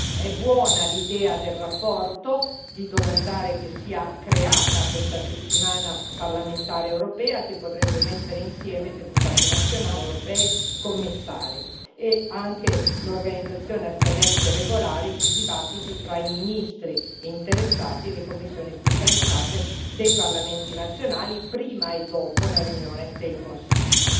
È buona l'idea contenuta nella relazione di chiede che sia creata questa settimana parlamentare europea, che potrebbe mettere insieme deputati nazionali, deputati europei e commissari, nonché l'organizzazione a scadenze regolari di dibattiti fra i ministri interessati e le commissioni specializzate dei parlamenti nazionali prima e dopo la riunione del Consiglio.